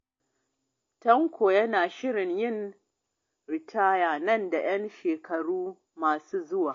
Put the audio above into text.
Tanko yana shirin yin ritaya nan da 'yan shekaru masu zuwa.